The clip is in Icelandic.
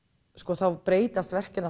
þá breytast verkin